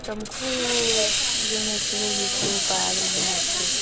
ତମକୁ ଏ ଯୋଉ ଏତେ ଋତୁ ତା ଅଛି